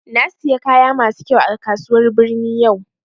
Na siya kaya masu kyau a kasuwar birni yau